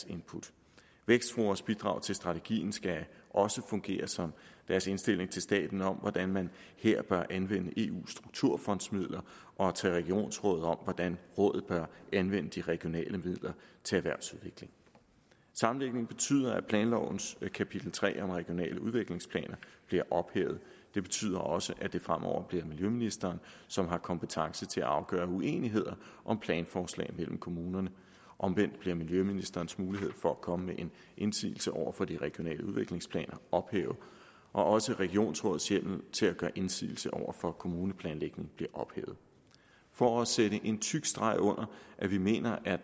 input vækstforas bidrag til strategien skal også fungere som deres indstilling til staten om hvordan man her bør anvende eus strukturfondsmidler og til regionsrådet om hvordan rådet bør anvende de regionale midler til erhvervsudvikling sammenlægningen betyder at planlovens kapitel tre om regionale udviklingsplaner bliver ophævet det betyder også at det fremover bliver miljøministeren som har kompetence til at afgøre uenigheder om planforslag mellem kommunerne omvendt bliver miljøministerens mulighed for at komme med en indsigelse over for de regionale udviklingsplaner ophævet også regionsrådets hjemmel til at gøre indsigelse over for kommuneplanlægningen bliver ophævet for at sætte en tyk streg under at vi mener at